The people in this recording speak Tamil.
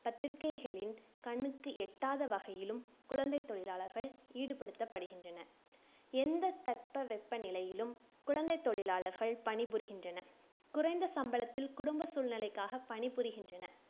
பத்திரிக்கைகளின் கண்ணுக்கு எட்டாத வகையிலும் குழந்தைத் தொழிலாளர்கள் ஈடுபடுத்தப்படுகின்றனர். எந்த தட்பவெப்பநிலையிலும் குழந்தைத் தொழிலாளர்கள் பணிபுரிகின்றனர் குறைந்த சம்பளத்தில் குடும்பச் சூழ்நிலைக்காக பணிபுரிகின்றனர்